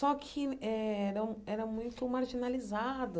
Só que era era muito marginalizado.